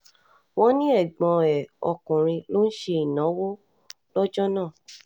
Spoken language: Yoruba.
wọ́n ní ẹ̀gbọ́n ẹ̀ ọkùnrin ló um ń ṣènáwó lọ́jọ́ náà